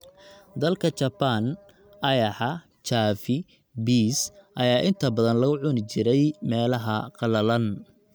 Dalka Japan, ayaxa, chavi, bees, ayaa inta badan lagu cuni jiray meelaha qallalan